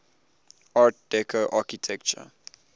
art deco architecture